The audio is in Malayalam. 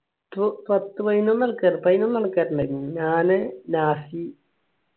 പ്പോ പത്ത് പതിനൊന്നു ന്നൽക്കാറ് പതിനൊന്നു ആൾക്കാർ ഉണ്ടായിന് ഞാന് നാസി